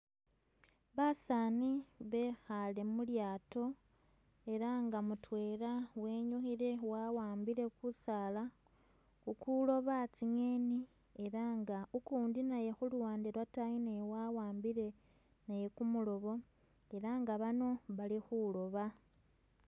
Basaani bekhale mu lyaato ela nga mutwela wenyukhile wawambile kusaala kukuloba tsi'ngeni, ela nga ukundi naye khuluwande lwotayi naye wawambile naye kumulobo ela nga bano bali khuloba